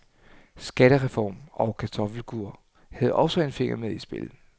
Skattereform og kartoffelkur havde også en finger med i spillet.